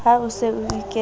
ha o se o ikentse